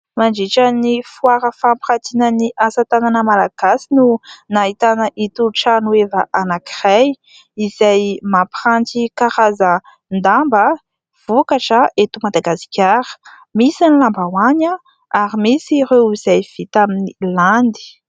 Mandritra ny foara fampirantiana ny asa tanana Malagasy no nahitana itony trano heva anankiray, izay mampiranty karazan-damba vokatra eto Madagasikara. Misy ny lambahoany ary misy ireo izay vita amin'ny landy.